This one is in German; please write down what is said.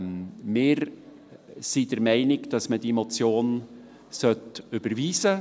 Wir sind der Meinung, man soll diese Motion überweisen.